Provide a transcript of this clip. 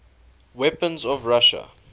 weapons of russia